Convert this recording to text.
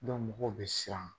mɔgɔw bɛ siran.